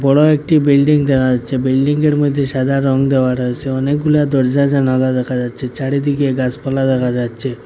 বড় একটি বিল্ডিং দেখা যাচ্ছে বিল্ডিংয়ের মধ্যে সাদা রং দেওয়া রয়েছে অনেকগুলা দরজা জানালা দেখা যাচ্ছে চারিদিকে গাছপালা দেখা যাচ্ছে।